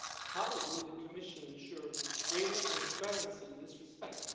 How will the Commission ensure greater transparency in this respect?